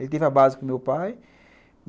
Ele teve a base com o meu pai.